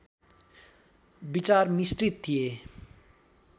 विचार मिश्रित थिए